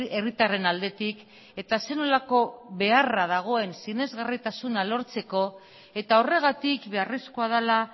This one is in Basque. herritarren aldetik eta zer nolako beharra dagoen sinesgarritasuna lortzeko eta horregatik beharrezkoa dela